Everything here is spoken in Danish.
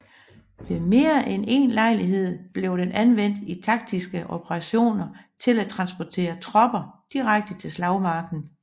Ved mere end en lejlighed blev den anvendt i taktiske operationer til at transportere tropper direkte til slagmarken